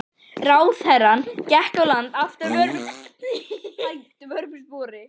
Ráðherrann gekk á land aftur að vörmu spori.